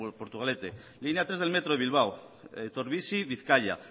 portugalete bizkaia línea tres del metro de bilbao etorbizi bizkaia